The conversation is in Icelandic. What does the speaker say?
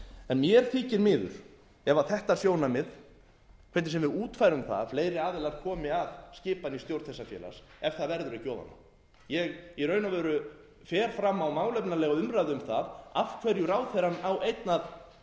en mér þykir miður ef þetta sjónarmið hvernig sem við útfærum það fleiri aðilar komi að skipan í stjórn þessa félags ef það verður ekki ofan á ég í raun og veru fer fram á málefnalegu umræðu um það af hverju ráðherrann á einn að